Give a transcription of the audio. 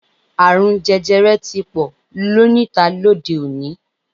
Àrùn jẹjẹrẹ ti pò níta lóde-òní.